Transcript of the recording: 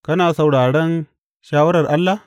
Kana sauraron shawarar Allah?